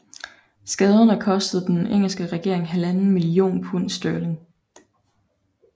Skaderne kostede den engelske regering halvanden million pund sterling